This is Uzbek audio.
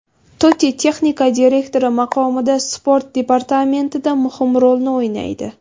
Totti texnik direktor maqomida sport departamentida muhim rolni o‘ynaydi.